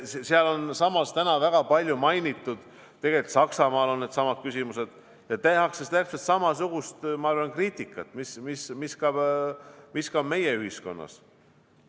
Ja sealsamas, täna väga palju mainitud Saksamaal on needsamad küsimused ja tehakse täpselt samasugust kriitikat, mida ka meie ühiskonnas.